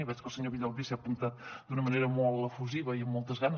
i veig que el senyor villalbí s’hi ha apuntat d’una manera molt efusiva i amb moltes ganes